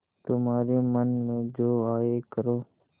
तुम्हारे मन में जो आये करो